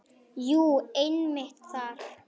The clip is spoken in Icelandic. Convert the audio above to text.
Jú, einmitt þar.